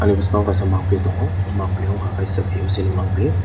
ani boskango kaisa mangpholoi tongo o mangpholoi wngka kaisa boc ni mangpholoi.